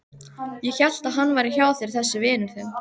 Ég hélt að hann væri hjá þér þessi vinur þinn.